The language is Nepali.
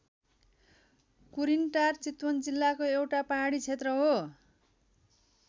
कुरिनटार चितवन जिल्लाको एउटा पहाडी क्षेत्र हो।